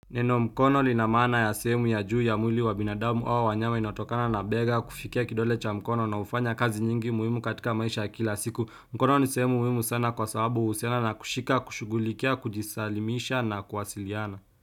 Neno mkono lina maana ya sehemu ya juu ya mwili wa binadamu au wanyama inayotokana na bega kufikia kidole cha mkono na hufanya kazi nyingi muhimu katika maisha ya kila siku. Mkono ni sehemu muhimu sana kwa sababu huhusiana na kushika, kushugulikia, kujisalimisha na kuwasiliana.